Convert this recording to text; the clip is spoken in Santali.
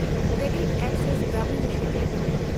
CreditAccess Grameen limited